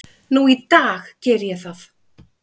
Nú í dag geri ég það.